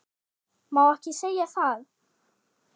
Má ekki segja það?